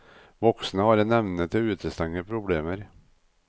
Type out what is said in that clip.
Voksne har en evne til å utestenge problemer.